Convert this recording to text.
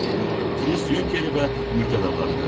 Üstəlik, Prus yunkeri və mülkədarlarıdır.